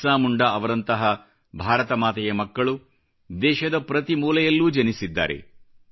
ಬಿರ್ಸಾ ಮುಂಡಾ ಅವರಂತಹ ಭಾರತ ಮಾತೆಯ ಮಕ್ಕಳು ದೇಶದ ಪ್ರತಿ ಮೂಲೆಯಲ್ಲೂ ಜನಿಸಿದ್ದಾರೆ